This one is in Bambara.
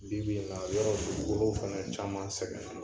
Bibi in na yɔrɔ dugukolo fana caman sɛgɛnna.